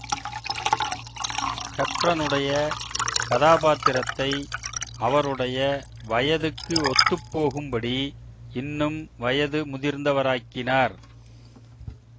ஹெப்பர்னுடைய கதாபாத்திரத்தை அவருடைய வயதுக்கு ஒத்துப் போகும்படி இன்னும் வயது முதிர்ந்தவராக்கினார்